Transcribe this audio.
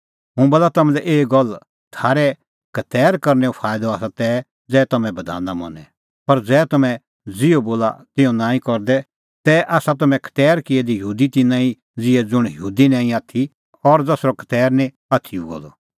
हुंह बोला तम्हां लै एही गल्ल थारै खतैर करनैओ फाईदअ आसा तै ज़ै तम्हैं बधाना मनें पर ज़ै तम्हैं ज़िहअ बधान बोला तिहअ नांईं करे तै आसा तम्हैं खतैर किऐ दै यहूदी तिन्नां ई ज़िहै ज़ुंण यहूदी निं आथी और ज़सरअ खतैर निं आथी हुअ द